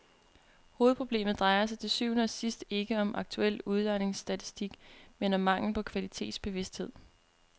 Hovedproblemet drejer sig til syvende og sidst ikke om aktuel udlejningsstatistik, men om mangel på kvalitetsbevidsthed.